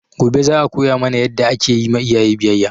Gobe za a koya mana yadda ake ma iyaye biyayya